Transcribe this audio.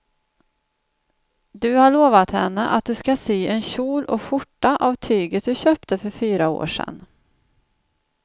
Du har lovat henne att du ska sy en kjol och skjorta av tyget du köpte för fyra år sedan.